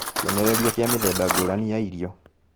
Kĩonereria kĩa Mĩthemba ngũrani ya irio